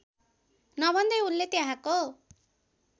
नभन्दै उनले त्यहाँको